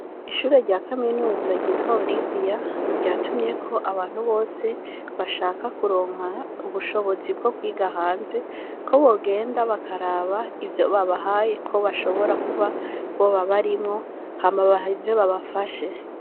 Ishure rya kaminuza ryitwa oriviya, ryatumyeko abantu bose bashaka kutonka ubushobozi bwo kwiga hanze, ko bogenda bakaraba ivyo babahaye ko boshobora kuba boba barimwo ,hama baheze babafashe.